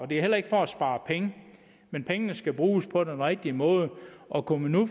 det er heller ikke for at spare penge men pengene skal bruges på den rigtige måde og kunne man nu